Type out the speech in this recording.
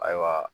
Ayiwa